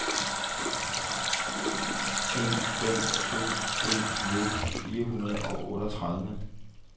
en fem to en nitten fire hundrede og otteogtredive